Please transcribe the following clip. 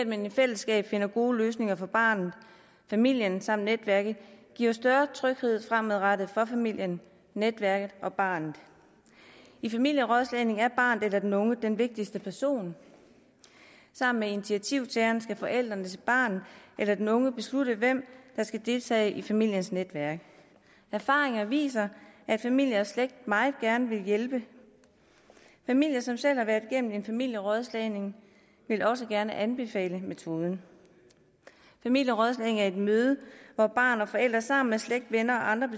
man i fællesskab finder gode løsninger for barnet familien samt netværket giver større tryghed fremadrettet for familien netværket og barnet i familierådslagning er barnet eller den unge den vigtigste person sammen med initiativtageren skal forældrene til barnet eller den unge beslutte hvem der skal deltage i familiens netværk erfaringerne viser at familier og slægt meget gerne vil hjælpe familier som selv har været igennem en familierådslagning vil også gerne anbefale metoden familierådslagning er et møde hvor barn og forældre sammen med slægt venner og andre